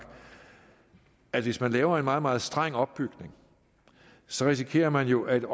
i at hvis man laver en meget meget streng opbygning så risikerer man jo at